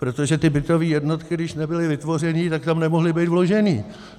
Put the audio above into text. Protože ty bytové jednotky, když nebyly vytvořeny, tak tam nemohly být vloženy.